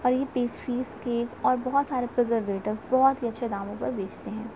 और piece fish के बहुत सारे से अच्छे दामों पर बेचते हैं।